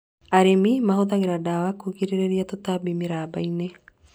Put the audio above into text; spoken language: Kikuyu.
Arĩmi mahũthagĩra ndawa kũgirĩrĩria tũtambi mĩramba-inĩ